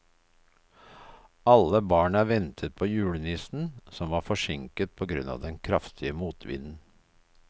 Alle barna ventet på julenissen, som var forsinket på grunn av den kraftige motvinden.